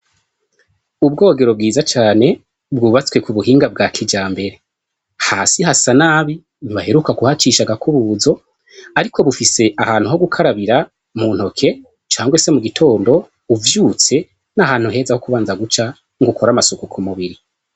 Ubwogero bwiza cane bwubatswe ku buhinga bwa kijambere hasi hasa nabi ntibaheruka kuhacisha agakubuzo ariko bufise ahantu ho gukarabira mu ntoke cange se mugitondo uvyutse ni ahantu heza ho kubanza guca ngo ukore amasuku kumubiri.